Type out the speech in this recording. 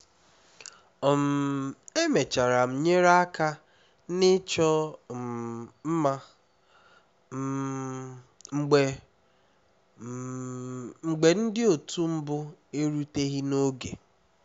um emechara m nyere aka na ịchọ um mma um mgbe um mgbe ndị otu mbụ eruteghi n'oge